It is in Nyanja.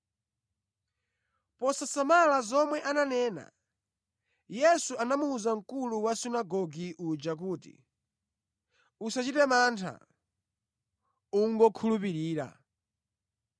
Posasamala zomwe ananena, Yesu anamuwuza mkulu wa sunagoge uja kuti, “Usachite mantha; ingokhulupirira.”